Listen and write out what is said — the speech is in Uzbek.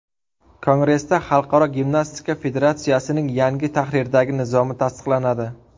Kongressda Xalqaro gimnastika federatsiyasining yangi tahrirdagi nizomi tasdiqlanadi.